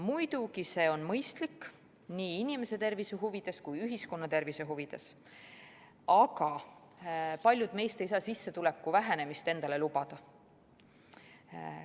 Muidugi, see on mõistlik nii inimese tervise huvides kui ka ühiskonna tervise huvides, aga paljud meist ei saa sissetuleku vähenemist endale lubada.